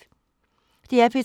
DR P3